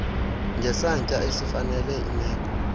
ngesantya esifanele imeko